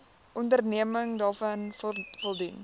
onderneming daaraan voldoen